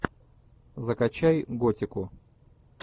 закачай готику